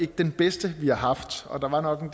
den bedste vi har haft og der var nok en